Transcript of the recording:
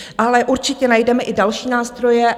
Ale určitě najdeme i další nástroje.